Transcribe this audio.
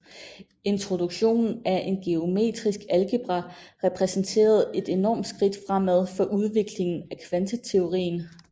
Introduktionen af en Geometrisk algebra repræsenterede et enormt skridt fremad for udviklingen af kvanteteorien